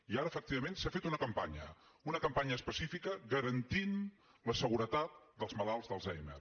i ara efectivament s’ha fet una campanya una campanya específica garantint la seguretat dels malalts d’alzheimer